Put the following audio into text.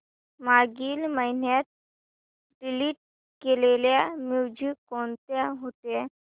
मागील महिन्यात डिलीट केलेल्या मूवीझ कोणत्या होत्या